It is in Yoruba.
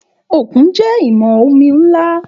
Òkun jẹ́ ìwọ̀n omi ńlá